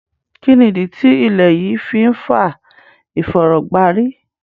Kínnídí tí ilẹ̀ yí fì n fà ìfọ̀rọ̀gbàrí?